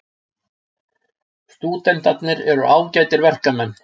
Stúdentarnir eru ágætir verkmenn.